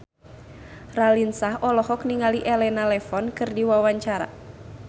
Raline Shah olohok ningali Elena Levon keur diwawancara